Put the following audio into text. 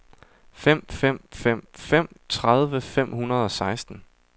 fem fem fem fem tredive fem hundrede og seksten